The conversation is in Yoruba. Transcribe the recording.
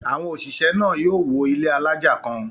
Àwọn òṣìṣẹ́ náà yóò wọ ilé alájà kàn.